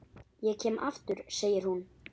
Ég kem aftur, segir hún.